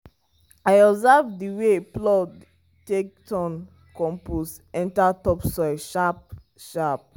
i observe the wey plow take turn compost enter topsoil sharp-sharp.